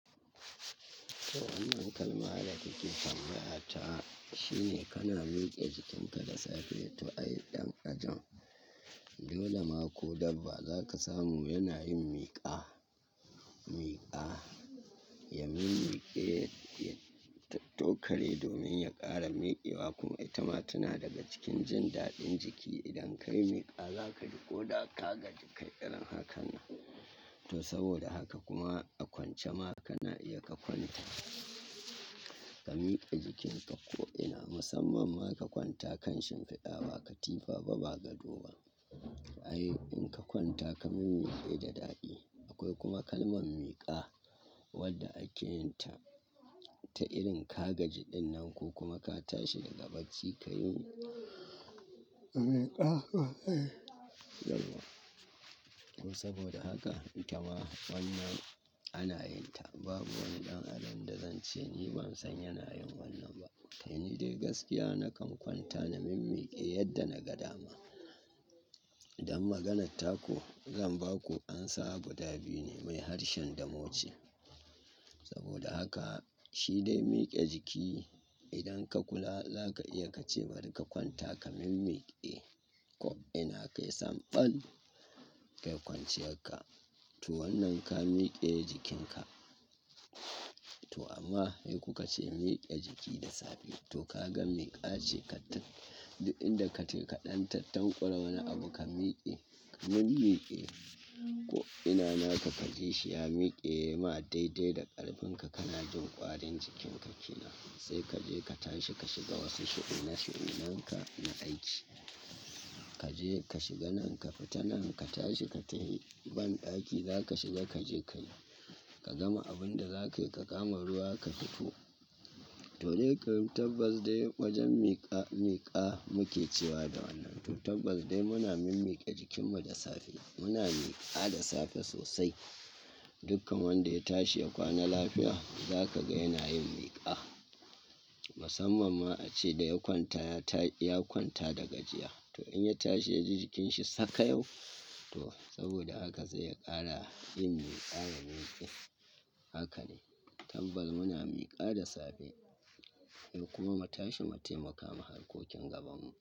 To wannan kalma da kike tambaya ta, shine kana mike jikinka da safe to ai dan kajin. Yau da ma ko dabba zaka samu yana yin miƙa, miƙa. Ya mimmiƙe, ya tattokare domin ya kara mikewa kuma ita ma tana daga cikin jin daɗin jiki. Idan kayi miƙa za kaji koda ka gaji kai irin hakannan to saboda haka kuma a kwance ma kana iya ka kwanta, ka miƙe jikinka ko'ina. Musamman ma ka kwanta kan shimfiɗa, ba katifa ba, ba gado ba. Ai in ka kwanta ka mimmiƙe da daɗi. Akwai kuma kalman miƙa wadda ake yin ta, ta irin ka gaji ɗinnan ko kuma ka tashi daga bacci kayi miƙa. To saboda haka ita ma wannan ana yin ta. Babu wani dan adam da zan ce ni ban san yana yin wannan ba. Kai ni dai gaskiya na kan kwanta na mimmiƙe yadda na ga dama. Don maganar taku zan baku amsa guda biyu ne mai harshen Damo ce. Saboda haka shi dai miƙe jiki, idan ka kula zaka iya ka ce bari ka kwanta ka mimmiƙe ko'ina kai samɓal kai kwanciyar ka. To wannan ka miƙe jikinka. To amma sai kuka ce in miƙe jiki da safe. To ka ga miƙa ce kaɗan, duk inda ka je ka ɗan tattanƙwala wani abu ka miƙe, ka mimmiƙe ko'ina naka kajishi ya miƙe yaima daidai da ƙarfin ka kana jin ƙwarin jikinka kenan. Sai kaje ka tashi ka shiga wasu shu'na-shu'unanka na aiki. Kaje ka shiga nan ka fita nan ka tashi ka tafi bandaki zaka shiga kaje kayi. Ka gama abun da zakayi ka kama ruwa ka fito. To dai karin tabbas dai wajen miƙa miƙa muke cewa da wannan. To tabbas dai muna mimmiƙe jikinmu da safe. Muna miƙa da safe sosai. Dukkan wanda ya tashi ya kwana lafiya zaka ga yana yin miƙa. Musamman ma ace da ya kwanta ya kwanta da gajiya. To in ya tashi ya ji jikinsa sakayau, to saboda haka sai ya ƙara yin miƙa da miƙe. Haka ne. Tabbas muna miƙa da safe. Ai kuma mu tashi mu taimaka ma harkokin gabanmu.